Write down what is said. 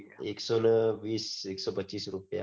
એકસો ને વીસ એક્સોપચીસ રૂપિયા